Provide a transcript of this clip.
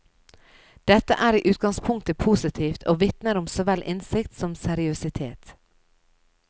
Dette er i utgangspunktet positivt og vitner om så vel innsikt som seriøsitet.